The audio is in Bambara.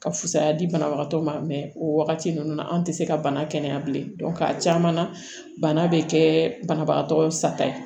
Ka fusaya di banabagatɔ ma o wagati ninnu na an tɛ se ka bana kɛnɛya bilen a caman na bana bɛ kɛ banabagatɔ sata ye